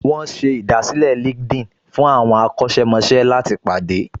Wọ́n ṣe ìdásílẹ̀ LinkedIn fún àwọn akọ́ṣẹ́mọṣẹ́ láti pàdé